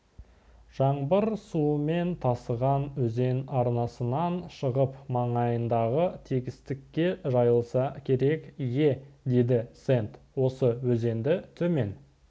жаңбыр суымен тасыған өзен арнасынан шығып маңайындағы тегістікке жайылса керек ие деді сэнд осы өзенді төмен